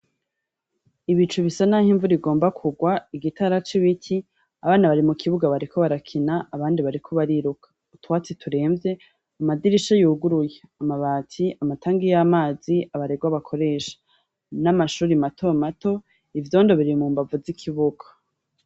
Ibicu bisa naho imvura igomba kurwa. Igitara c’ibiti. Abana bari mu kibuga bariko barakina; abandi bariko bariruka. Utwatsi turevye amadirisha yuguruye; amabati amatangi yamazi abarerwa bakoresha, n’amashure mato mato. Ivyondo biri mu mbavu z’ikibuga.